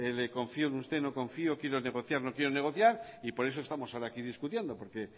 confío en usted no confío quiero negociar no quiero negociar y por eso estamos ahora hoy aquí discutiendo porque